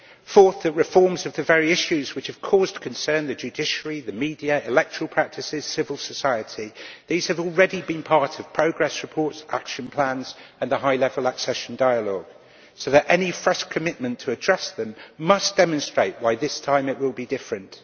Fourthly, the reforms in the very areas which have caused concern the judiciary, the media, electoral practices, civil society have already been part of progress reports, action plans and the high level accession dialogue, so that any fresh commitment to address them must demonstrate why this time it will be different.